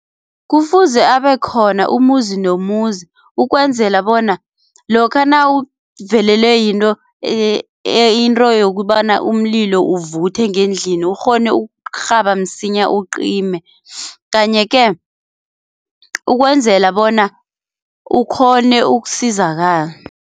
Kufuze abekhona umuzi nomuzi ukwenzela bona lokha nawuvelelwe yinto into yokobana umlilo uvuthe ngendlini ukghone ukurhaba msinya ucime, kanye-ke ukwenzela bona ukghone ukusizakala.